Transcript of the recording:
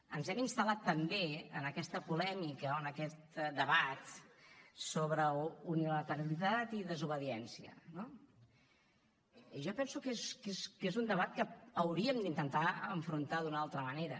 ens hem instal·lat també en aquesta polèmica o en aquest debat sobre unilateralitat i desobediència no jo penso que és un debat que hauríem d’intentar enfrontar d’una altra manera